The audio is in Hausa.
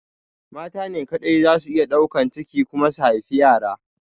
Mata ne kaɗai zasu iya ɗaukan ciki kuma su haifi yara.